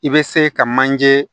I bɛ se ka manje